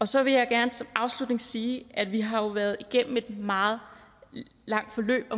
så vil jeg gerne som afslutning sige at vi jo har været igennem et meget langt forløb